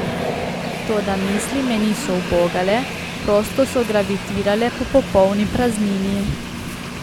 Toda misli me niso ubogale, prosto so gravitirale po popolni praznini.